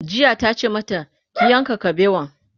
jiya tace mata "ki yanka kabewan!'